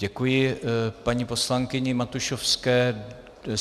Děkuji paní poslankyni Matušovské.